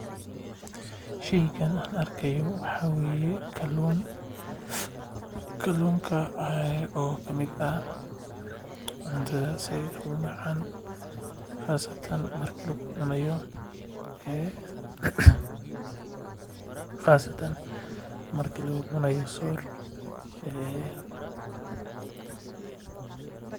Sheygan aan arkaayo waxaa waye kaluun oo kamid ah cuntada sait umacaan qasatan marki lagu cunaayo door.